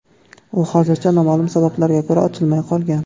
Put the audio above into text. U hozircha noma’lum sabablarga ko‘ra, ochilmay qolgan.